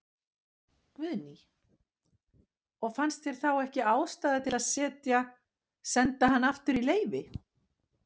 Guðný: Og fannst þér þá ekki ástæða til að setja, senda hann aftur í leyfi?